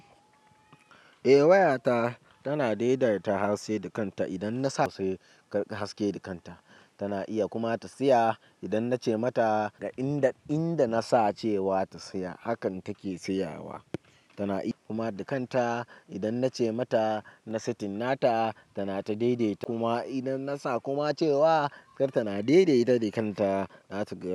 Eh wayata tana daidaita haske da kanta. Idan nasa se ka riƙa haske dukanta tana iya kuma ta tsaya. Idan nace mata ga inda inda nasa cewa ta saya hakan take sayawa. Tana iya kuma da kanta idan nace mata na setinna ta tana ta daidaita kuma idan na sa kuma cewa kartana daidaita da kanta zata gaya.